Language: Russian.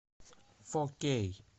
фо кей